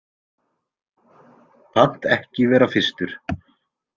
Pant ekki vera fyrstur